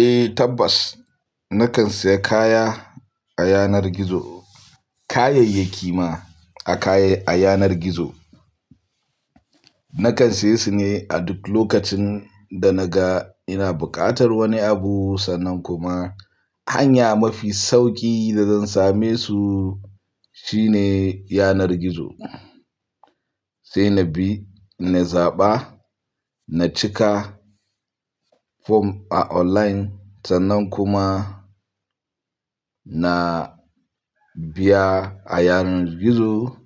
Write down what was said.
Eh tabbas, nakan saya kaya a yanar gizo, kayayyaki ma a kaya, a yanar gizo. Nakan siye su ne a duk lokacin da naga ina buƙatar wani abu sannan kuma hanya mafi sauƙi da zan same su shine yanar gizo. Sai na bi, na zaɓa, na cika form a online sannan kuma na biya a yanar gizo,